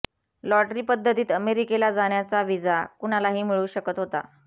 lottery पद्धतीत अमेरिकेला जाण्याचा व्हिसा कुणालाही मिळू शकत होता